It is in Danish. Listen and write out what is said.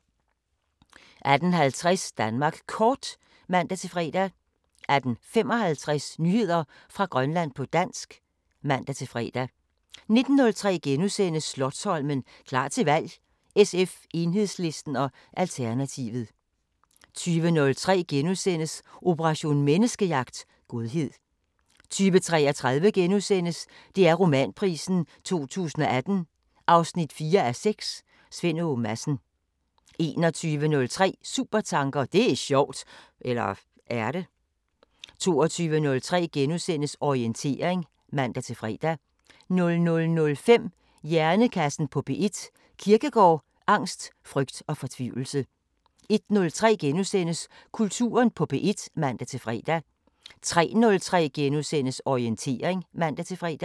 18:50: Danmark Kort (man-fre) 18:55: Nyheder fra Grønland på dansk (man-fre) 19:03: Slotsholmen – klar til valg: SF, Enhedslisten og Alternativet * 20:03: Operation Menneskejagt: Godhed * 20:33: DR Romanprisen 2018 4:6 – Svend Åge Madsen * 21:03: Supertanker: Det er sjovt! – eller er det? 22:03: Orientering *(man-fre) 00:05: Hjernekassen på P1: Kierkegaard, angst, frygt og fortvivlelse 01:03: Kulturen på P1 *(man-fre) 03:03: Orientering *(man-fre)